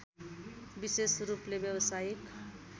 विशेष रूपले व्यवसायिक